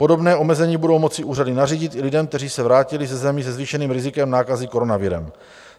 Podobné omezení budou moci úřady nařídit i lidem, kteří se vrátili ze zemí se zvýšeným rizikem nákazy koronavirem.